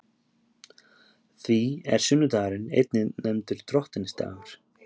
Því er sunnudagurinn einnig nefndur Drottinsdagur.